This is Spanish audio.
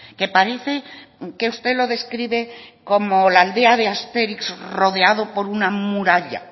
que parece que usted lo describe como la aldea de astérix rodeado por una muralla